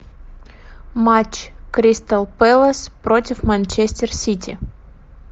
матч кристал пэлас против манчестер сити